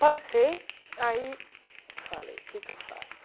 Passei, aí falei, o que é que eu faço?